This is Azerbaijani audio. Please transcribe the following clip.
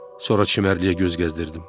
Sonra çimərliyə göz gəzdirdim.